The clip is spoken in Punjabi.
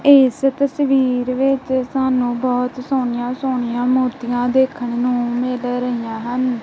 ਇਸ ਤਸਵੀਰ ਵਿੱਚ ਸਾਨੂੰ ਬਹੁਤ ਸੋਹਣੀਆਂ ਸੋਹਣੀਆਂ ਮੂਰਤੀਆਂ ਦੇਖਣ ਨੂੰ ਮਿਲ ਰਹੀਆਂ ਹਨ।